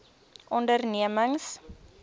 ondernemings